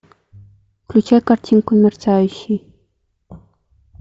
включай картинку мерцающий